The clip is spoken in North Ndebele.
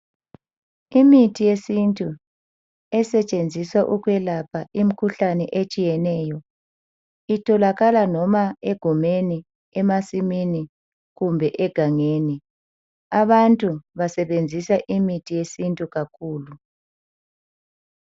Imithi yesintu esetshenziswa ukwelapha imkhuhlane etshiyeneyo itholakala noma egumeni, emasimini kumbe egangeni, abantu basebenzisa imithi yesintu kakhulu.